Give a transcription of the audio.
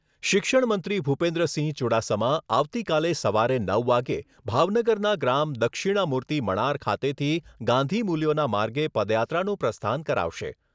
શિક્ષણ મંત્રી ભૂપેન્દ્રસિંહ ચૂડાસમા આવતીકાલે સવારે નવ વાગે ભાવનગરના ગ્રામ દક્ષિણામૂર્તિ મણાર ખાતેથી ગાંધીમૂલ્યોના માર્ગે પદયાત્રાનું પ્રસ્થાન કરાવશે.